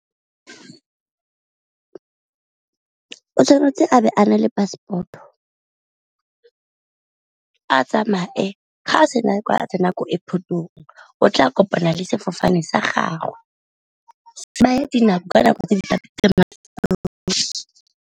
O tshwanetse a be a na le passport-o a tsamaye, ga sena a tsena ko airport-ong o tla kopana le sefofane sa gagwe .